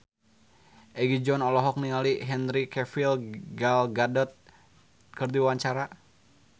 Egi John olohok ningali Henry Cavill Gal Gadot keur diwawancara